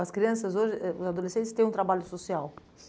As crianças hoje, eh os adolescentes, têm um trabalho social.